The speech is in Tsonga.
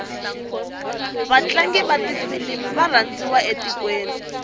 vatlangu vatifilimu varandziwa etikweni